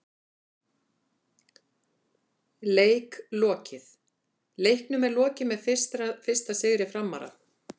Leik lokið: Leiknum er lokið með fyrsta sigri Framara!!